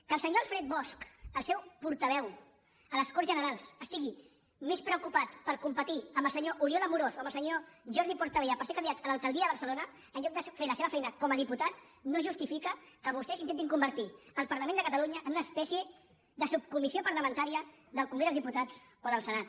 que el senyor alfred bosch el seu portaveu a les corts generals estigui més preocupat per competir amb el senyor oriol amorós o amb el senyor jordi portabella per ser candidat a l’alcaldia de barcelona en lloc de fer la seva feina com a diputat no justifica que vostès intentin convertir el parlament de catalunya en una espècie de subcomissió parlamentària del congrés dels diputats o del senat